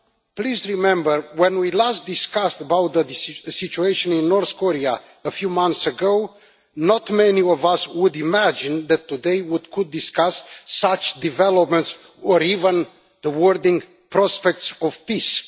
please remember that, when we last discussed the situation in North Korea a few months ago, not many of us would have imagined that today we could discuss such developments, or even the wording prospects of peace'.